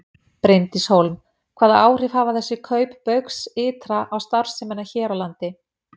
Bryndís Hólm: Hvaða áhrif hafa þessi kaup Baugs ytra á starfsemina hér á landi?